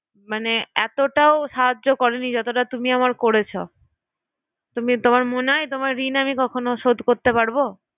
মানে এতোটাও সাহায্য কেও করেনি যতটা তুমি আমার করেছো তুমি তোমার মনে হয় না রে ওতো তোমার ঋণ কখনো শোধ করতে পারবো?